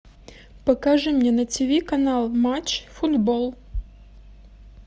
покажи мне на тв канал матч футбол